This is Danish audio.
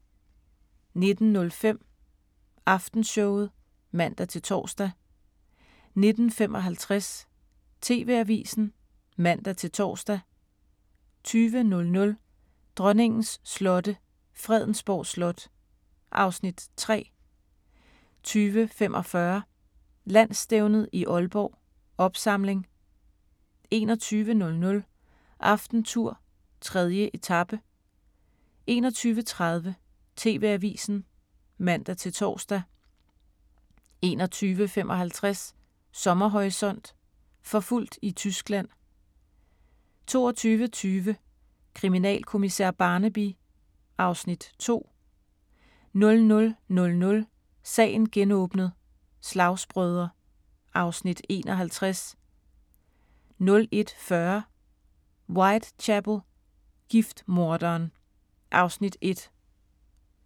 19:05: Aftenshowet (man-tor) 19:55: TV-avisen (man-tor) 20:00: Dronningens slotte – Fredensborg Slot (Afs. 3) 20:45: Landsstævnet i Aalborg: Opsamling 21:00: AftenTour: 3. etape 21:30: TV-avisen (man-tor) 21:55: Sommerhorisont: Forfulgt i Tyskland 22:20: Kriminalkommissær Barnaby (Afs. 2) 00:00: Sagen genåbnet: Slagsbrødre (Afs. 51) 01:40: Whitechapel: Giftmorderen (Afs. 1)